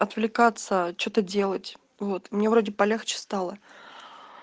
аппликация что-то делать вот мне вроде полегче стало